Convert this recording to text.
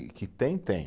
E que tem, tem.